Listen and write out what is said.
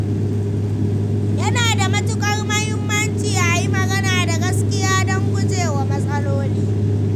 Yana da matukar muhimmanci a yi magana da gaskiya don gujewa matsaloli.